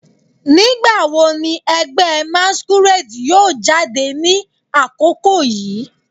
Nigbawo ni ẹgbẹ masquerade yoo jade ni akoko yii